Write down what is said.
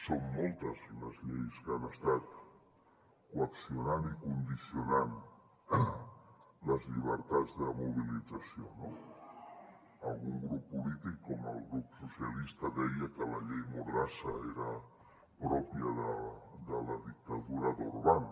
són moltes les lleis que han estat coaccionant i condicionant les llibertats de mobilització no algun grup polític com el grup socialistes deia que la llei mordassa era pròpia de la dictadura d’orban